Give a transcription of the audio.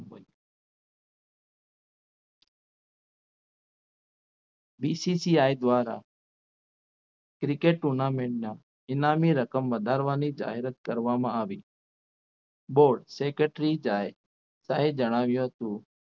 BCCI દ્વારા Cricket tournament ના ઇનામી રકમ વધારવાની જાહેરાત કરવામાં આવી board secretary જાય શાહ જણાવ્યું હતું.